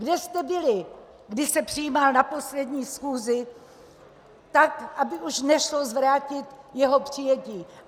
Kde jste byli, když se přijímal na poslední schůzi tak, aby už nešlo zvrátit jeho přijetí?